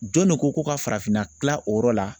Jɔn de ko ko ka farafinna kilan o yɔrɔ la